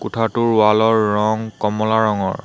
কোঠাটোৰ ৱালৰ ৰং কমলা ৰঙৰ।